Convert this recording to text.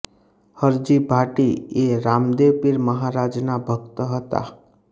હરજી ભાટી એ રામદેવ પીર મહારાજના ભક્ત હતા